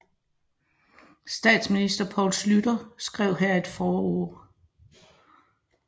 Statsminister Poul Schlüter skrev her et forord